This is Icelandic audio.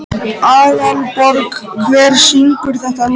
Þar var gróðursælt um að litast og ákaflega víðsýnt.